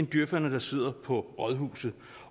djøferne der sidder på rådhuset